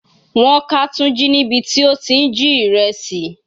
Wọ́n ká Tunji níbi tí ó ti ń jí ìrẹsì.